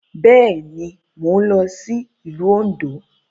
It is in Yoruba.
Bẹ́ẹ̀ ni, mò ń lọ sí ìlú Òǹdó.